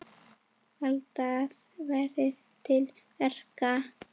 Vandað verði til verka.